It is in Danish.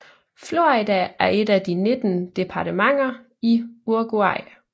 Florida er et af de 19 departementer i Uruguay